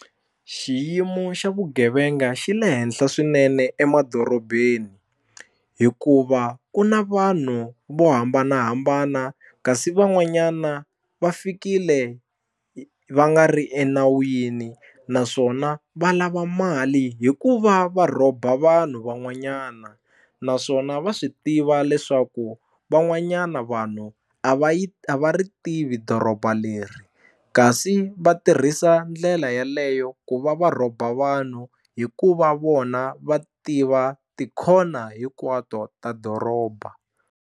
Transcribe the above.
Xiyimo xa vugevenga xi le henhla swinene emadorobeni hikuva ku na vanhu vo hambanahambana kasi van'wanyana va fikile va nga ri enawini naswona va lava mali hikuva va rhoba vanhu van'wanyana naswona va swi tiva leswaku van'wanyana vanhu a va yi a va ri tivi doroba leri kasi va tirhisa ndlela yaleyo ku va va rhoba vanhu hikuva vona va tiva tikhona hinkwato ta doroba.